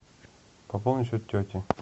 пополни счет тете